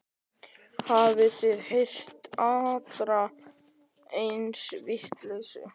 Hafið þið heyrt aðra eins vitleysu?